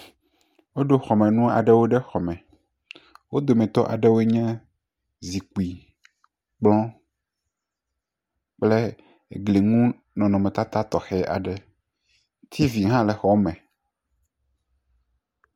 Woɖo xɔmenu aɖewo ɖe xɔme, wo dometɔ aɖewoe nye zikpui, kplɔ kple gliŋu nɔnɔmetata tɔxɛ aɖe, tv hã le xɔa me.